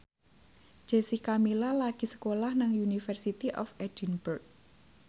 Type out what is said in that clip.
Jessica Milla lagi sekolah nang University of Edinburgh